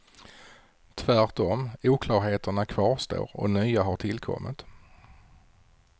Tvärtom, oklarheterna kvarstår och nya har tillkommit.